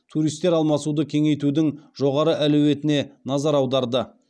туристтер алмасуды кеңейтудің жоғары әлеуетіне назар аударды